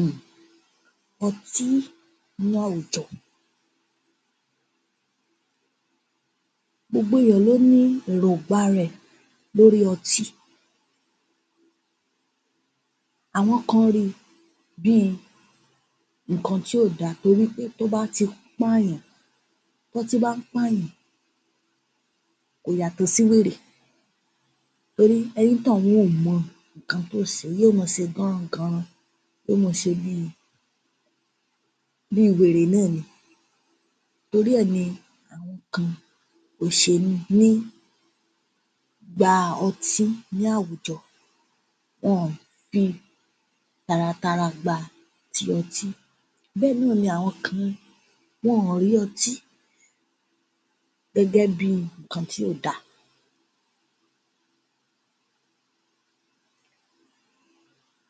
um ọtí nínú àwùjọ. Gbogbo èèyàn ló ní èròngbà rẹ̀ lórí ọtí. Àwọn kan ri bí i nǹkan tí ò da torí tó pé tó bá ti ń pàyàn tọ́tí bá ń pàyàn, kò yàtọ̀ sí wèrè torí ẹnítọ̀ún ò mọ nǹkan tó ṣe. Yóò máa ṣe gánran-gànran yóò máa ṣe bí i wèrè náà ni. Torí ẹ ni àwọn kan ò ṣe nígba ọtí ní àwùjọ. Wọn ò fi taratara gba ti ọtí. Bẹ́ẹ̀ náà ni àwọn kan, wọn rí ọtí gẹ́gẹ́bí nǹkan tí ò da.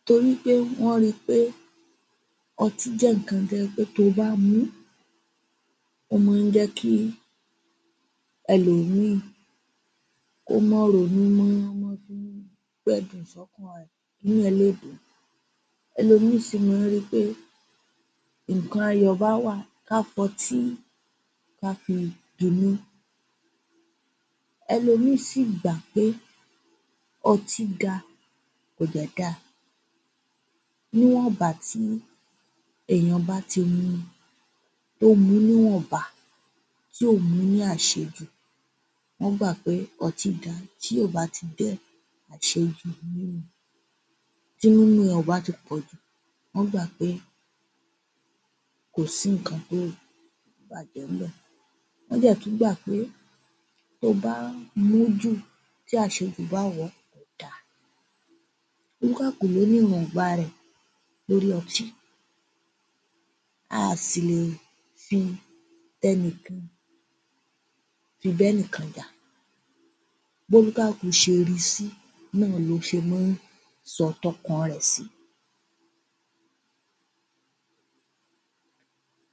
Torí pé wọ́n ri pé ọtí jẹ́ nǹkan tó jẹ́ pé to bá muú, ó máa ń jẹ́ kí ẹlòmíì kó má ronú Ẹlòmíì sì máa ń ri pé nǹkan ayọ̀ bá wà ká fọtí ká fi dunnú. Ẹlòmíì sì gbà pé ọtí da kò dẹ̀ dáa. Níwọ̀n ìgbà tí èèyàn bá ti mu, kó muú níwọ̀n ìgbà tí èèyàn bá ti mu, tó muú níwọ̀nba tí ò ní ní àṣejù. Wọ́n gbà pé ọtí da tí ò bá tí jẹ́ àṣejù tí mímú rẹ̀ ò bá ti pọ̀jù wọ́n gbà pé kò sí nǹkan tó bàjẹ́ ń bẹ̀. Wọ́n dẹ̀ tún gbà pé to bá muú jù tí àṣejù bá wòó kò da. Oníkálùùkù ló ní ìwọ̀nba rẹ̀ lórí ọtí. A à sì le fi tẹnìkan fí bẹ́nìkan jà. Bó ní kálùùkù ṣe ri sí náà lo ṣe máa ń sọ tọkàn rẹ̀ sí.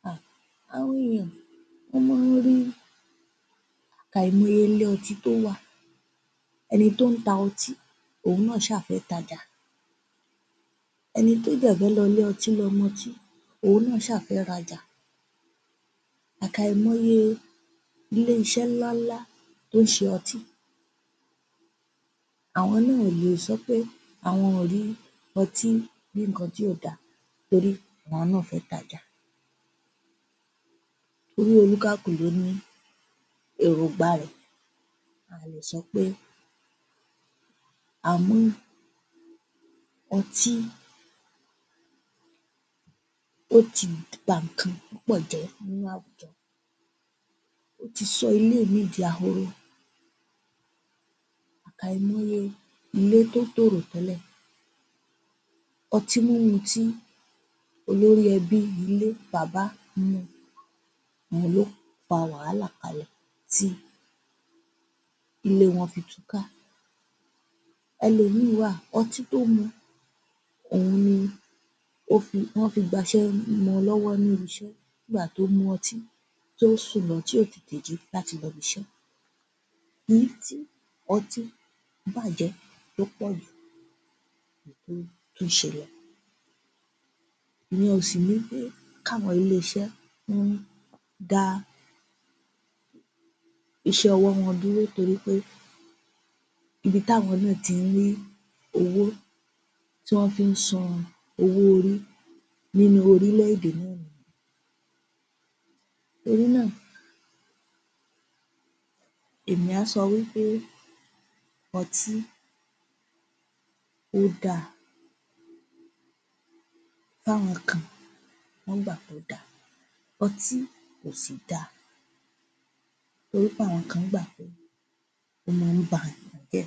um àwọn èèyàn, wọ́n máa ń rí ka àìmọye ilé ọtí tó wà. Ẹni tó ń ta ọtí, òun náà ṣàfẹ́ tajà ẹni tó dẹ̀ fẹ́ lọlé ọtí fẹ́ lọ mọtí òun náà ṣáà fẹ́ rajà. Àkàìmọye ilé-iṣẹ́ ńláńlá tó ń ṣe ọtí. Àwọn náà ò lè sọ pé àwọn ò rí ọtí bí nǹkan tí ò da torí àwọn náà fẹ́ tajà. Irú Oníkálùùkù ló ní èròngbà rẹ̀ táa lè sọ pé àmọ́ ọtí ó ti ba nǹkan púpọ̀ jẹ́ nínú àwùjọ. Ó ti sọ ilé ìmí di ahoro. Àkàìmọye ilé tó tòrò tẹ́lẹ̀. Ọtí mímu tí olórí-ẹbí ilé, bàbá mú òhun ló fa wàhálà kalẹ̀ tí ilé wọn fi túká. Ẹlòmíì wà, ọtí tó mu òhun ni ó fi wọ́n fi gbaṣẹ́ mọ lọ́wọ́ níbiṣẹ́ nígbàtí ó mu ọtí tó sùnlọ tí ò tètè jí láti lọbiṣẹ́. Ìyí tí ọtí bàjẹ́ tó pọ̀jù ìyẹn ò sì nípé káwọn ilé-iṣẹ́ wọ́n dá iṣẹ́ ọwọ́ wọn dúró torí ibi táwọn náà tí ń rí owó tí wọ́n fí ń san owó-orí nínú orílè-èdè náà nìyẹn. Torí náà, èmi a sọ wí pé ọtí o dáa fáwọn kan wọ́n gbà póda. Ọtí kò sì da torí pé àwọn kan gbà wí pé ó máa ń ba nǹkan jẹ́.